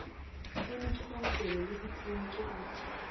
kliniki maokelo le dikliniki go